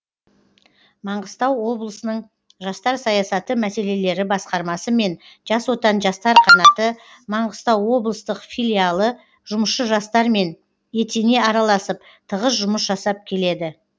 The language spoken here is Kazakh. маңғыстау облысының жастар саясаты мәселелері басқармасы мен жас отан жастар қанаты маңғыстау облыстық филиалы жұмысшы жастармен етене араласып тығыз жұмыс жасап келеді